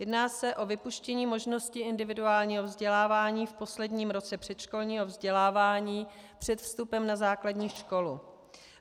Jedná se o vypuštění možnosti individuálního vzdělávání v posledním roce předškolního vzdělávání před vstupem na základní školu.